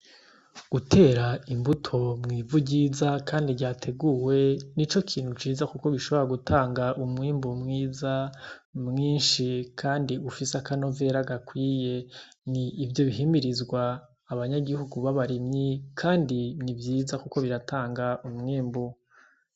Gutera imbuto mw'ivu ryiza kandi ryateguwe, nico kintu ciza kuko bishobora gutanga umwimbu mwiza, mwinshi kandi ufise akanovera gakwiye. Ni ivyo bihimirizwa abanyagihugu b'abarimyi, kandi biriko biratanga umwimbu.